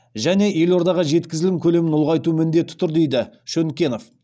және елордаға жеткізілім көлемін ұлғайту міндеті тұр дейді шөнкенов